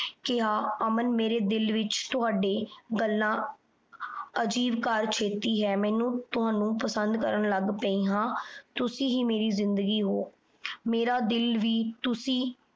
ਰਿਮਪੀ ਨੇ ਕਿਹਾ ਅਮਨ ਮੇਰੇ ਦਿਲ ਵਿੱਚ ਤੁਹਾਡੇ ਗੱਲਾਂ ਅਜ਼ੀਬ ਸ਼ੇਤੀ ਹੈ ਮੈਨੂੰ ਤੁਹਾਨੂੰ ਪਸੰਦ ਕਰਨ ਲੱਗ ਪਈ ਹਾਂ ਤੁਸੀ ਹੀ ਮੇਰੀ ਜ਼ਿੰਦਗੀ ਉਹ ਮੇਰਾ ਦਿਲ ਵੀ ਤੁਸੀ